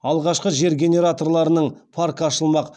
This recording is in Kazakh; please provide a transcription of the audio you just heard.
алғашқы жер генераторларының паркі ашылмақ